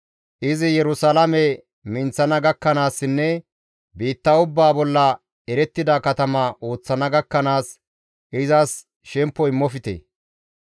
Izi Yerusalaame minththana gakkanaassinne biitta ubbaa bolla erettida katama ooththana gakkanaas izas shemppo immofte.